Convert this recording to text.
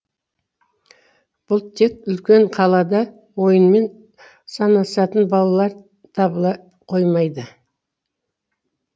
бұл тек үлкен қалада ойымен санасатын балалар табыла қоймайды